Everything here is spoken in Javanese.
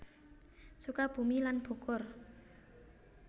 Sukabumi lan Bogor